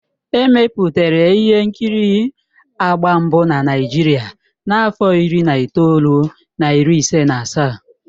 Emepụtara ihe nkiri agba mbụ na Naịjirịa na afọ iri na itoolu na iri ise na asaa.